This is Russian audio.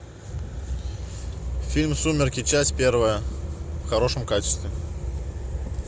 фильм сумерки часть первая в хорошем качестве